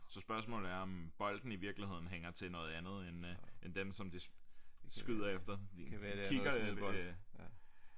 Så spørgsmålet er om bolden i virkeligheden hænger til noget andet end øh end dem som de skyder efter kigger øh